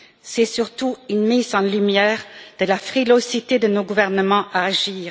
C'est surtout une mise en lumière de la frilosité de nos gouvernements à agir.